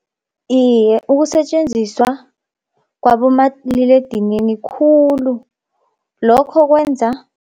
Iye ukusetjenziswa kwabomaliledinini khulu lokho kwenza